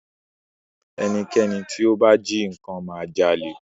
Ẹnikẹ́ni tí ó bá jí nnkan ma jalè